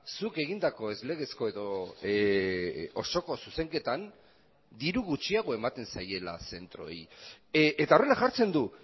zuk egindako ez legezko edo osoko zuzenketan diru gutxiago ematen zaiela zentroei eta horrela jartzen du